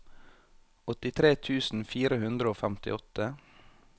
åttitre tusen fire hundre og femtiåtte